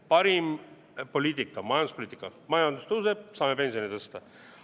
Parim poliitika, majanduspoliitika – majandus tõuseb, saame pensione tõsta.